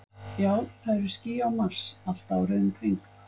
Já, það eru ský á Mars, allt árið um kring.